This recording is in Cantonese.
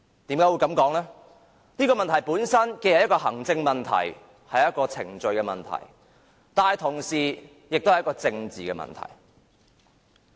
因為它本身既是行政問題、程序問題，但同時也是一個政治問題。